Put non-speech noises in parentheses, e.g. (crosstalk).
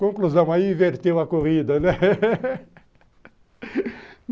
Conclusão, aí inverteu a corrida, né? (laughs)